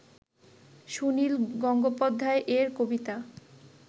সুনিল গঙ্গোপাধ্যায় এর কবিতা